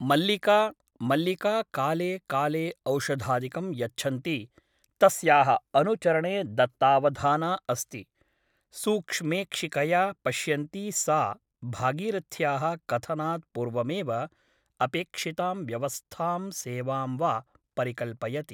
मल्लिका मल्लिका काले काले औषधादिकं यच्छन्ती तस्याः अनुचरणे दत्तावधाना अस्ति । सूक्ष्मेक्षिकया पश्यन्ती सा भागीरथ्याः कथनात् पूर्वमेव अपेक्षितां व्यवस्थां सेवां वा परिकल्पयति ।